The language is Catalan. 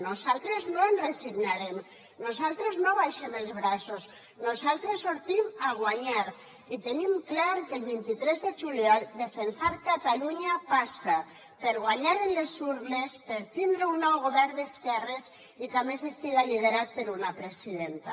nosaltres no ens resignarem nosaltres no abaixem els braços nosaltres sortim a guanyar i tenim clar que el vint tres de juliol defensar catalunya passa per guanyar en les urnes per tindre un nou govern d’esquerres i que a més estigui liderat per una presidenta